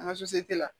An ka